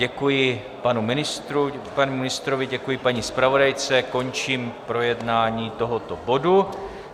Děkuji panu ministrovi, děkuji paní zpravodajce, končím projednávání tohoto bodu.